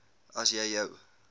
as jy jou